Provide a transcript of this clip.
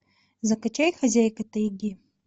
закачай хозяйка тайги